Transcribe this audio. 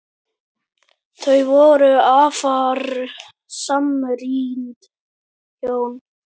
Þau voru afar samrýnd hjón.